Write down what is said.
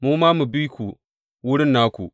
Mu ma mu bi ku wurin naku.